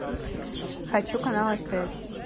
хочу канал стс